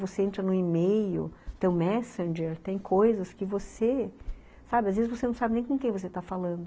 Você entra no e-mail, tem o messenger, tem coisas que você, sabe, às vezes você não sabe nem com quem você está falando.